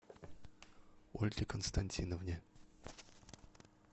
ольге константиновне